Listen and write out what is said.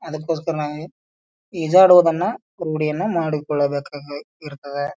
ಅದಕ್ಕೋಸ್ಕರ ನಾವು ಈಜಾಡೋದನ್ನ ರೂಡಿಯನ್ನ ಮಾಡಿ ಕೊಳ್ಳಬೇಕಾಗಿ ಇರ್ತದ .